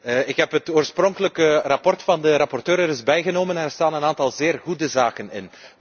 Ik heb het oorspronkelijke verslag van de rapporteur er eens bijgenomen en daar staan een aantal zeer goede zaken in.